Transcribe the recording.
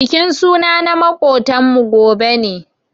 Bikin suna na makotan mu gobe ne.